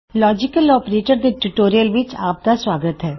logical operators ਦੇ tutorial ਵਿੱਚ ਆਪਦਾ ਸੁਆਗਤ ਹੈ